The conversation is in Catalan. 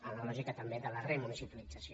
en la lògica també de la remunicipalització